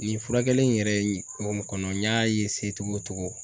Nin furakɛli in yɛrɛ ye kɔnɔ n y'a togo o togo